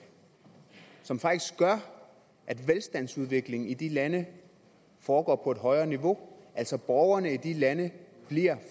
som faktisk gør at velstandsudviklingen i de lande foregår på et højere niveau altså borgerne i de lande bliver